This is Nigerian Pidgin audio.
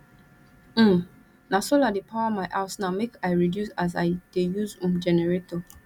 um na solar dey power my house now make i reduce as i dey use um generator